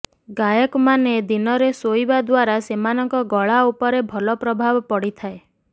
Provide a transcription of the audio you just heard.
ଗାୟକ ମାନେ ଦିନରେ ଶୋଇବା ଦ୍ୱାରା ସେମାନଙ୍କ ଗଳା ଉପରେ ଭଲ ପ୍ରଭାବ ପଡ଼ିଥାଏ